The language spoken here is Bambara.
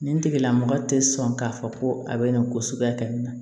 Nin tigila mɔgɔ tɛ sɔn k'a fɔ ko a bɛ na ko suguya kɛ nin na